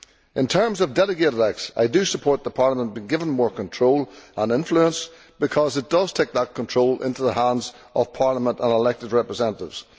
In terms of delegated acts, I am in favour of Parliament being given more control and influence, because this takes that control into the hands of Parliament and elected representatives.